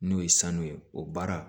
N'o ye sanu ye o baara